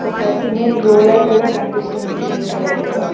ఒక cement roller కూడా కనిపిస్తుంది క్రీం కలర్ లో.